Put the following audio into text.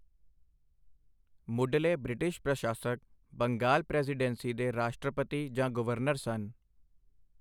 ਮੁੱਢਲੇ ਬ੍ਰਿਟਿਸ਼ ਪ੍ਰਸ਼ਾਸਕ ਬੰਗਾਲ ਪ੍ਰੈਜ਼ੀਡੈਂਸੀ ਦੇ ਰਾਸ਼ਟਰਪਤੀ ਜਾਂ ਗਵਰਨਰ ਸਨ।